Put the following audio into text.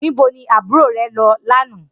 Nibó ni ábúró rè lò lànã?